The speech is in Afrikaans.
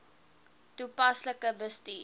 toepaslik bestuur